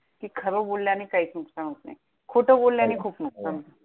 कि खरं बोलल्याने काहीच नुकसान होत नाही. खोटं बोलल्याने हो खूप हो नुकसान होतं.